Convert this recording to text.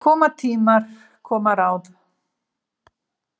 Koma tímar, koma ráð.